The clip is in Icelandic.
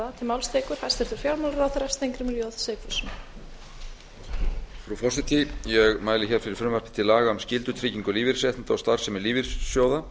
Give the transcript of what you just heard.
frú forseti ég mæli fyrir frumvarpi til laga um breytingu á lögum um skyldutryggingu lífeyrisréttinda og starfsemi lífeyrissjóða